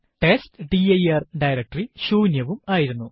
test dir directory ശൂന്യവും ആയിരുന്നു